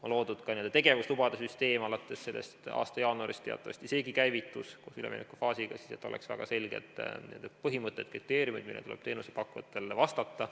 On loodud ka n-ö tegevuslubade süsteem, alates selle aasta jaanuarist teatavasti seegi käivitus koos üleminekufaasiga, et oleks väga selged põhimõtted, kriteeriumid, millele tuleb teenusepakkujatel vastata.